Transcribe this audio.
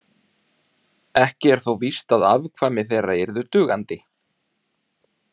Ekki er þó víst að afkvæmi þeirra yrðu dugandi.